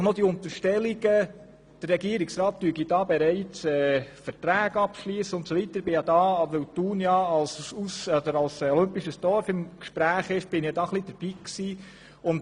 Noch etwas zu den Unterstellungen, dass der Regierungsrat bereits Verträge abschliesse und so weiter: Ich bin hier, weil Thun ja als olympisches Dorf im Gespräch ist und ich ein wenig dabei war.